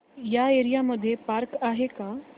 या एरिया मध्ये पार्क आहे का